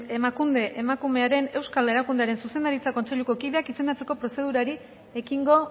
emakunde emakumearen euskal erakundearen zuzendaritza kontseiluko kideak izendatzeko prozedurari ekingo